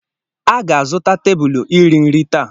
A ga-azụta tebụlụ iri nri taa.